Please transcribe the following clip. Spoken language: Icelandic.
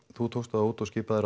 þú tókst þá út og skipaðir